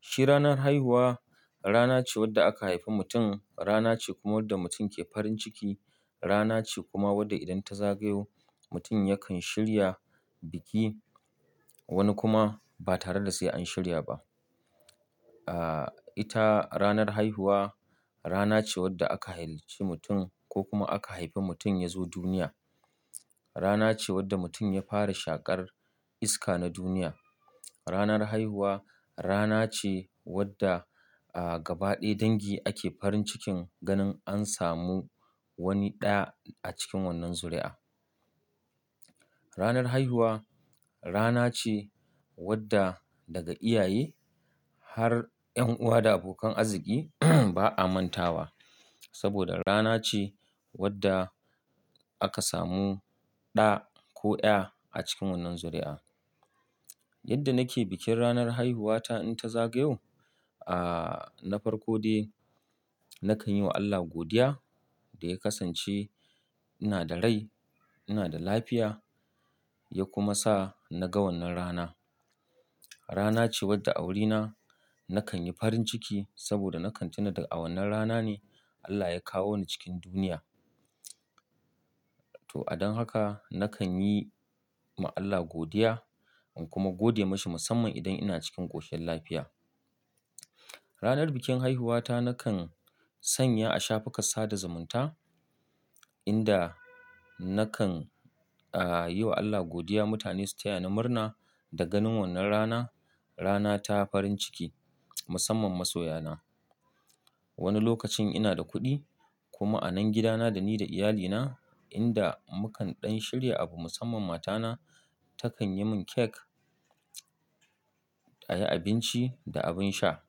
Shi ranar haihuwa rana ce wanda aka haifi mutum, rana ce kuma wadda mutum ke farin ciki, rana ce kuma wadda idan ta zagayo mutum yakan shirya biki wani kuma ba tare da sai an shirya ba. Ah ita ranar haihuwa rana ce wadda aka halicci mutum ko kuma aka haifi mutum ya zo duniya. Rana ce wadda mutum ya fara shaƙar iska na duniya. Ranar haihuwa rana ce wadda a gaba ɗaya dangi ake farin cikin ganin an samu wani ɗa a cikin wannan zuri'a. Ranar haihuwa rana ce wadda daga iyaye har ƴan'uwa da abokan arziki ba a manta wa saboda rana ce wadda aka samu ɗa ko ƴa a cikin wannan zuri'a. Yadda nake bikin ranar haihuwata in ta zagayo, ah na farko dai nakan yi wa Allah godiya da ya kasance ina da rai, ina da lafiya, ya kuma sa na ga wannan rana. Rana ce wadda a wurina nakan yi farin ciki saboda nakan tuna da a wannan rana ne Allah ya kawo ni cikin duniya. To a don haka nakan yi ma Allah godiya in kuma gode masa musamman idan ina cikin ƙoshiyan lafiya. Ranar bikin haihuwata nakan sanya a shafuka sada zumunta inda nakan ah yi wa Allah godiya mutane su taya ni murna da ganin wannan rana rana ta farin ciki musamman masoya na. Wani lokacin ina da kuɗi kuma a nan gidana da ni da iyalina inda mukan ɗan shirya abu musamman matana takan yi mun cake, ayi abinci da abin sha.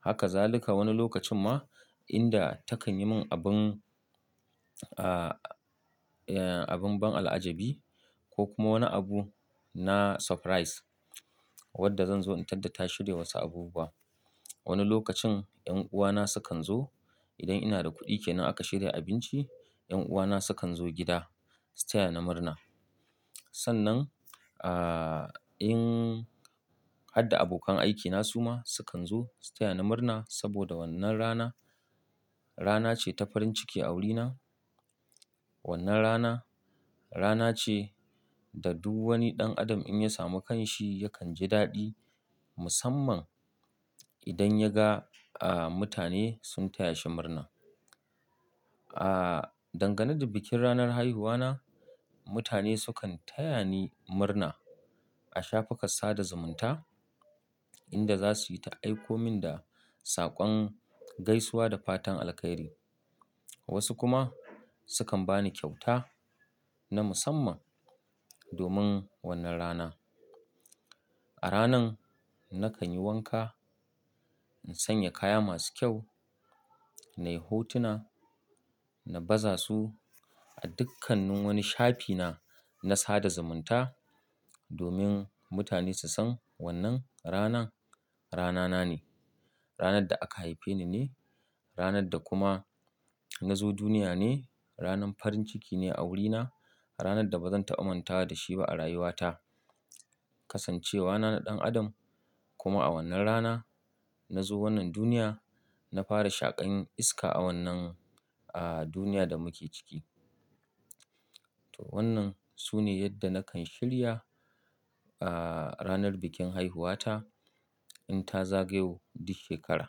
Haka zaluka wani lokacin ma inda takan yi mun abun ah abun ban al'ajabi ko kuma wani abu na surprise wadda zan zo in tadda ta shirya wasu abu ba. Wani lokacin ƴan'uwa na sukan zo idan ina da kuɗi kenan aka shirya abinci ƴan'uwa na sukan zo gida su taya ni murna. Sannan ah in harda abokan aikina su ma sukan zo su taya ni murna saboda wannan rana rana ce ta farin ciki a wurina. Wannan rana, rana ce da duk wani ɗan adam in ya samu kan shi yakan ji daɗi musamman idan ya ga ah mutane sun taya shi murna. Ah dangane da bikin ranar haihuwa na mutane sukan taya ni murna a shafukan sada zumunta. Inda za su yi ta aiko min da saƙon gaisuwa da fatan alheri. Wasu kuma sukan ba ni kyauta na musamman domin wannan rana. A ranan nakan yi wanka in sanya kaya masu kyau nayi hotuna na baza su a dukkannin wani shafina na sada zumunta domin mutane su san wannan ranan rana na ne. Ranar da aka haife ni ne, ranar da kuma na zo duniya ne, ranar farin ciki ne a wurina, ranar da bazan taba mantawa da shi ba a rayuwa ta. Kasancewa na na ɗan adam kuma a wannan rana na zo wannan duniya na fara shaƙan iska a wannan ah duniya da muke ciki. To wannan su ne yadda nakan shirya ah ranar bikin haihuwata in ta zagayo duk shekara.